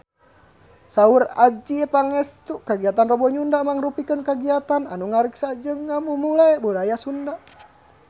Saur Adjie Pangestu kagiatan Rebo Nyunda mangrupikeun kagiatan anu ngariksa jeung ngamumule budaya Sunda